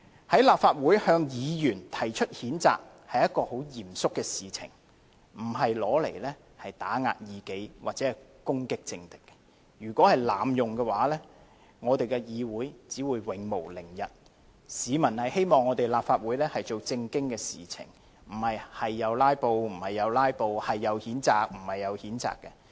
在立法會向議員提出譴責，是一件很嚴肅的事情，不是用以打壓異己或攻擊政敵，如果被濫用，立法會議會只會永無寧日，市民希望立法會做正經事情，而並非隨意"拉布"，隨意譴責。